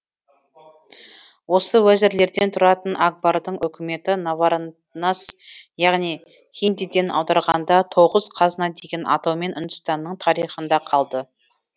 осы уәзірлерден тұратын акбардың үкіметі навараннас яғни хиндиден аударғанда тоғыз қазына деген атаумен үндістанның тарихында қалды